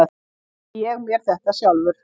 Sagði ég mér þetta sjálfur?